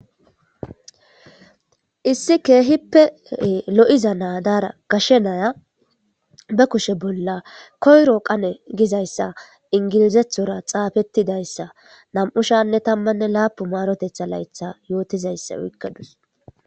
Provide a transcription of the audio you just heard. issi keehippee lo7iza naadara gashe naya ba kushe bolla koyro qane gizayssa ingilizethora xaafettidayssa nam7u shanne tammanne laapu maarotetha laytha yootizayssa wikkadus